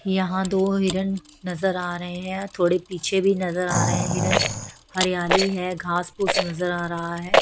यहां दो हिरण नजर आ रहे हैं थोड़े पीछे भी नजर आ रहे हैं हिरण हरियाली है घास फूस नजर आ रहा है।